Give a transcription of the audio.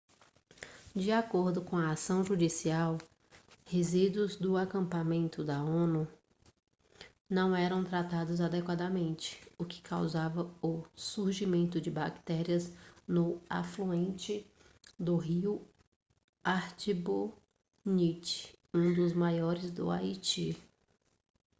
de acordo com a ação judicial resíduos do acampamento da onu não eram tratados adequadamente o que causava o surgimento de bactérias no afluente do rio artibonite um dos maiores do haiti